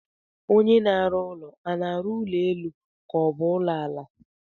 Onye na-arụ ụlọ a na-arụ ụlọ elu ka ọ bụ ụlọ ala?